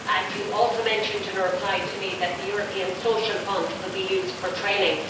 You also mentioned in reply to me that the European Social Fund could be used for training.